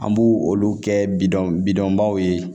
An b'u olu kɛ bidɔn bidɔnbaw ye